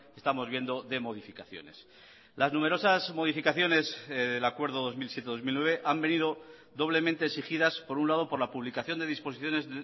estamos viendo de modificaciones las numerosas modificaciones del acuerdo dos mil siete dos mil nueve han venido doblemente exigidas por un lado por la publicación de disposiciones